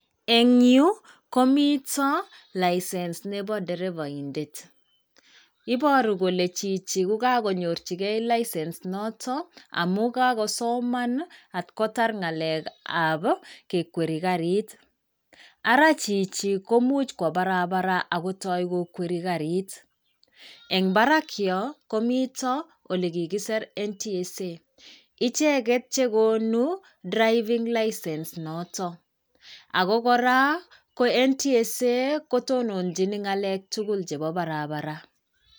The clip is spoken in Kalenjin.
Eng' yu, komito License nebo derevaindet. Iboru kole chichi ko kanyorjigei license noto, amun kakosoman at kotar ng'alekab kekwerii garit. Ara chichi komuch kwo barabara akotoi kokwerii garit. En barak yoo, komito ole kikisir NTSA icheget che konuu driving license noto. Ago koraa, ko NTSA kotononjin ng'alek tugul chebo barabara.